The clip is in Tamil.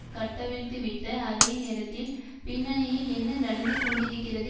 கட்டவிழ்த்துவிட்ட அதேநேரத்தில் பின்னணியில் என்ன நடந்து கொண்டிருக்கிறது